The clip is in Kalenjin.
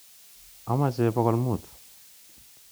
Amache pokol muut.